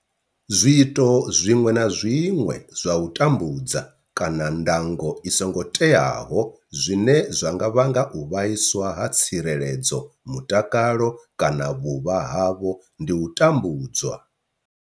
Zwiito zwiṅwe na zwiṅwe zwa u tambudza kana ndango i songo teaho zwine zwa nga vhanga u vhaiswa ha tsireledzo, mutakalo kana vhuvha havho ndi u tambudzwa.